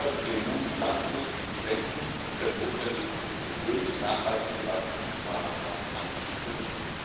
Haben wir also den Mut, langfristig zu denken und mit der notwenigen Geduld nachhaltige Wachstumsmaßnahmen anzustoßen!